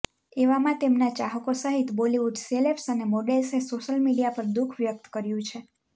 એવામાં તેમના ચાહકો સહીત બોલિવૂડ સેલેબ્સ અને મોડેલ્સએ સોશિયલ મીડિયા પર દુઃખ વ્યક્ત કર્યું છે